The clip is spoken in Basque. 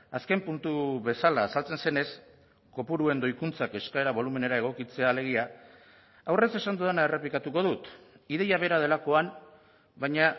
azken puntu bezala azaltzen zenez kopuruen doikuntzak eskaera bolumenera egokitzea alegia aurrez esan dudana errepikatuko dut ideia bera delakoan baina